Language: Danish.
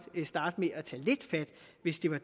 starte med at tage lidt fat hvis det var